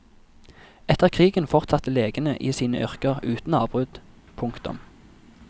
Etter krigen fortsatte legene i sine yrker uten avbrudd. punktum